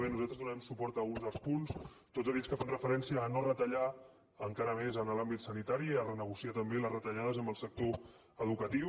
bé nosaltres donarem suport a alguns dels punts tots aquells que fan referència a no retallar encara més en l’àmbit sanitari a renegociar també les retallades en el sector educatiu